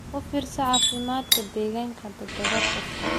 U fiirso caafimaadka digaagga toddobaad kasta.